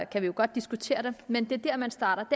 kan vi godt diskutere det men det er der man starter